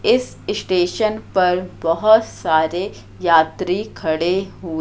इस स्टेशन पर बहुत सारे यात्री खड़े हो--